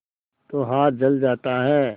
तो हाथ जल जाता है